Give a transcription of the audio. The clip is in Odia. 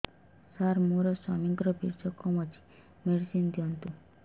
ସାର ମୋର ସ୍ୱାମୀଙ୍କର ବୀର୍ଯ୍ୟ କମ ଅଛି ମେଡିସିନ ଦିଅନ୍ତୁ